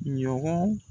Ɲɔgɔn